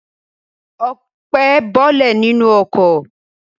Ọpẹ́ bọ́lẹ̀ nínú ọkọ̀.